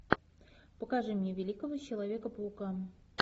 покажи мне великого человека паука